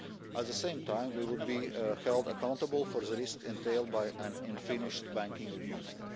At the same time, we will be held accountable for the risks entailed by an unfinished banking